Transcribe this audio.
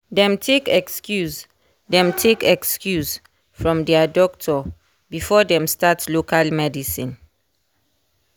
dem take excuse dem take excuse from dia doctor before dem start local medicine.